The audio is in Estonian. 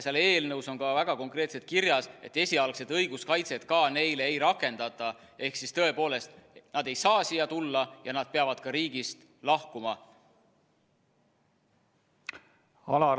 Eelnõus on väga konkreetselt kirjas, et esialgset õiguskaitset neile ka ei rakendata ehk siis tõepoolest, nad ei saa siia tulla ja nad peavad riigist lahkuma.